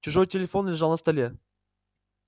чужой телефон лежал на столе